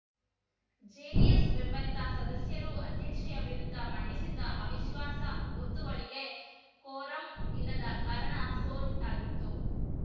JDS ಬೆಂಬಲಿತ ಸದಸ್ಯರು ಅಧ್ಯಕ್ಷೆಯ ವಿರುದ್ದ ಮಂಡಿಸಿದ್ದ ಅವಿಶ್ವಾಸ ಗೊತ್ತುವಳಿಗೆ ಕೋರಂ ಇಲ್ಲದ ಕಾರಣ ಸೋಲುಂಟಾಗಿತ್ತು